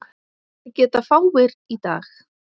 Það geta fáir í dag.